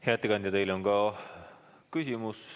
Hea ettekandja, teile on ka küsimusi.